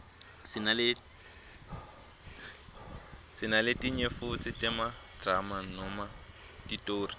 sinaletinye futsi temadrama noma titoli